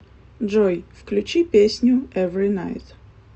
джой включи песню эври найт